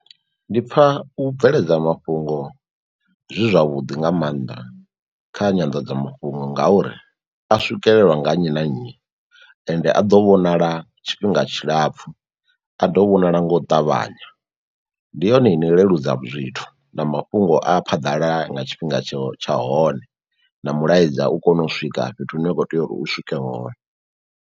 Ndi pfha u bveledza mafhungo zwi zwavhuḓi nga mannḓa kha nyanḓadzamafhungo ngauri a swikelelwa nga nnyi na nnyi, ende a ḓo vhonala tshifhinga tshilapfhu, a ḓo vhonala nga u ṱavhanya. Ndi yone ino leludza zwithu na mafhungo a phaḓalala nga tshifhinga tsho tsha hone na mulaedza u kono u swika fhethu hune wa kho tea uri u swike hone.